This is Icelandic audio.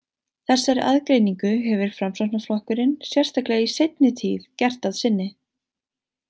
Þessari aðgreiningu hefur Framsóknarflokkurinn, sérstaklega í seinni tíð, gert að sinni.